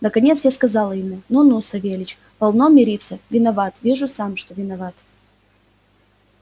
наконец я сказала ему ну ну савельич полно миримся виноват вижу сам что виноват